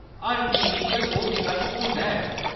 हर TV च ओह्‌‌ विकल्प होंदा ऐ।